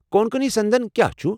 کونکنی سندن کیا چھُ؟